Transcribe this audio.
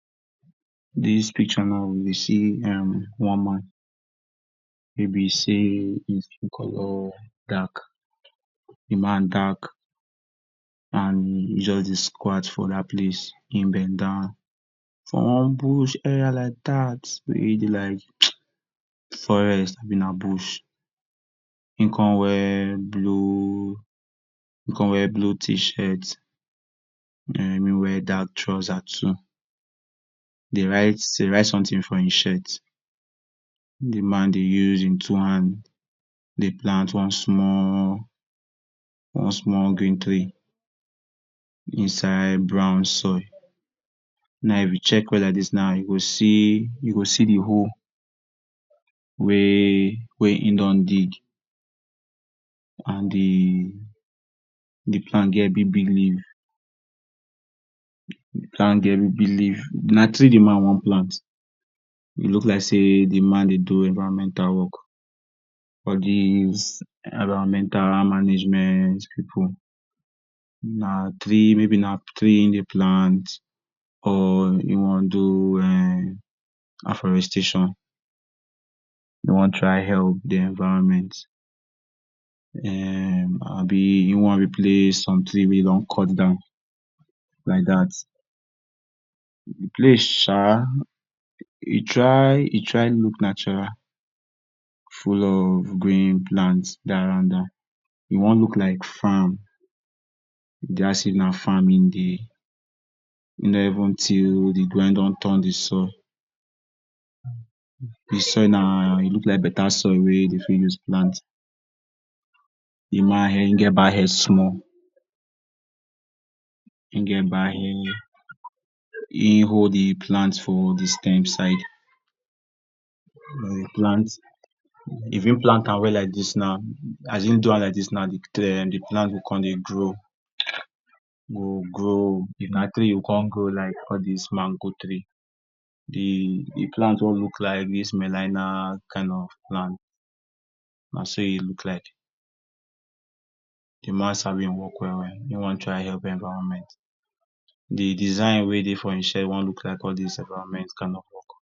Dis picture now we dey see um one man wey be sey hin skin color dark de man dark and he jus dey squat for dat place hin bend down for one bush area like dat wey dey like um forest na bush, hin con wear blue, hin cin wear blue tshirt and hin wear dark trouser too, dey write dey write something for hin shirt, de man dey use hin two hands dey plant one small one small green tree, inside brown soil, now if u check well like dis now u go see u go see de hole wey wey hin don dig, and de de plant get big big leaf d plant get big big leaf na tree de man wan plant e look like sey de man dey do environmental work, all dis environmental management pipu, maybe na tree na tree hin dey plant or hin wan do [um]afforestation, he wan try help de environment[um] Abi he wan replace something wey don cut down like dat, de place um e try e try look natural, full of green plant dey around, e wan look like farm, e b like sey na farm hin dey, he don even teal de ground hin don turn de soul, de soil na, e look like better soil wey dem for use plant, de man hin get bald head small, hin get bald head, hin hold de plant for de sterm side, if hin plant if hin plant am well like dis now, as hin do am like dis now, de de plant go con dey grow, go grow, e go cin grow like all dis mango tree, de plant wan look like dis kind of plant, naso e look like, de man sabi hin work well well hin wan try help environment, de design wey dey for hin shirt wan look like all dis environment kind of work.